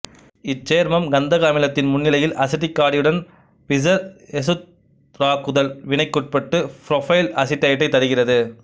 இச்சேர்மம் கந்தக அமிலத்தின் முன்னிலையில் அசிட்டிக் காடியுடன் பிசர் எசுத்தராக்குதல் வினைக்குட்பட்டு புரோப்பைல் அசிட்டேட்டைத் தருகிறது